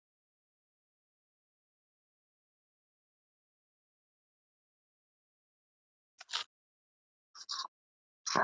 Thomas kvaðst ekkert vita, einungis að bóndinn vildi að þeir færu á fætur.